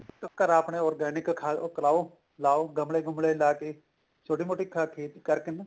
ਘਰ ਆਪਣੇ organic ਖਾ ਕਰਾਓ ਲਾਓ ਗਮਲੇ ਗੁਮ੍ਲੇ ਲਾ ਕੇ ਛੋਟੀ ਮੋਟੀ ਖੇਤੀ ਕਰਕੇ ਨਾ